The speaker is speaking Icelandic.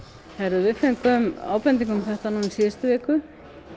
við fengum ábendingu um þetta í síðustu viku